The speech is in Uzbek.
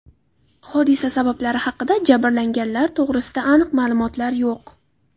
Hodisa sabablari haqida, jabrlanganlar to‘g‘risida aniq ma’lumotlar yo‘q.